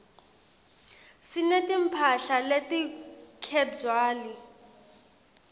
sineti mphahla leti khebywali